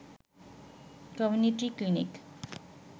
community clinic